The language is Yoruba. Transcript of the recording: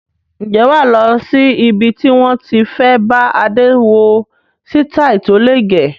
Ǹjẹ́ wà lọ sí ibi tí wón ti fẹ bá Adé wo sitai tó le gẹ̀?